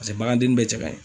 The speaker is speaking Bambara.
Paseke bagandenni bɛɛ cɛ kaɲi